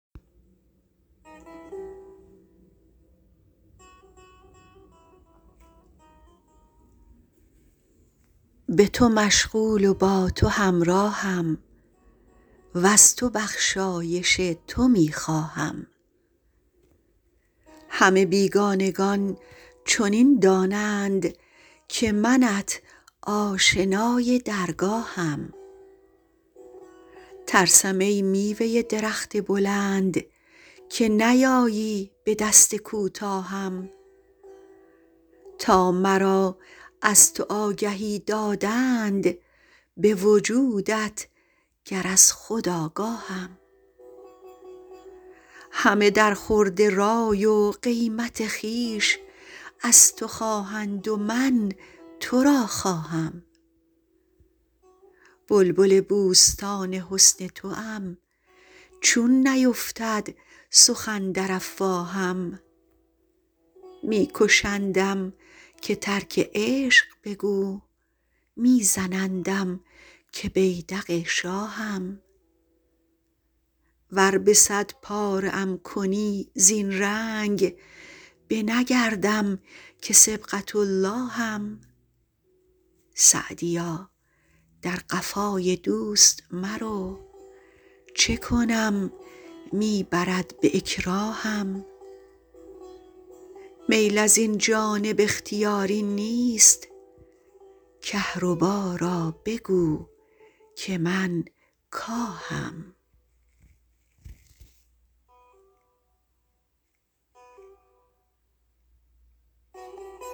به تو مشغول و با تو همراهم وز تو بخشایش تو می خواهم همه بیگانگان چنین دانند که منت آشنای درگاهم ترسم ای میوه درخت بلند که نیایی به دست کوتاهم تا مرا از تو آگهی دادند به وجودت گر از خود آگاهم همه در خورد رای و قیمت خویش از تو خواهند و من تو را خواهم بلبل بوستان حسن توام چون نیفتد سخن در افواهم می کشندم که ترک عشق بگو می زنندم که بیدق شاهم ور به صد پاره ام کنی زین رنگ نه بگردم که صبغة اللهم سعدیا در قفای دوست مرو چه کنم می برد به اکراهم میل از این جانب اختیاری نیست کهربا را بگو که من کاهم